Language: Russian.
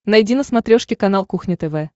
найди на смотрешке канал кухня тв